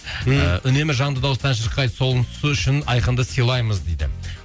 ы үнемі жанды дауыста ән шырқайды сонысы үшін айқынды сыйлаймыз дейді